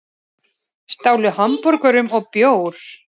Stálu hamborgurum og bjór